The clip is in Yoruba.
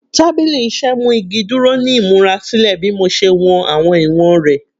Tabili iṣẹ mu igi duro ni imurasilẹ bi mo ṣe wọn awọn iwọn rẹ